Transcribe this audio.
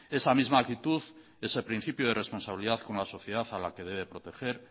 esa misma actitud ese principio de responsabilidad con la sociedad a la que debe proteger